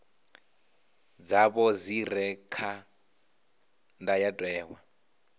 dzavho dzi re kha ndayotewa